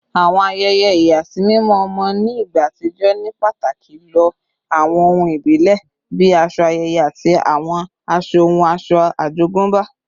Àwọn ayẹyẹ ìyàsímímọ́ ọmọ ní ìgbà àtijọ́ ní pàtàkì lo àwọn ohun ìbílẹ̀ bí aṣọ ayẹyẹ àti àwọn ohun ọ̀ṣọ́ àjogúnbá